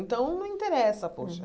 Então, não interessa, poxa.